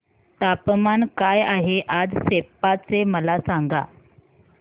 तापमान काय आहे आज सेप्पा चे मला सांगा